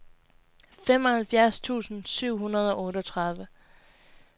femoghalvfjerds tusind syv hundrede og otteogtredive